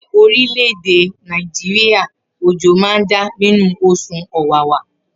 Ni orileede Naijiria ojo ma n da ninu osùn ọwawa.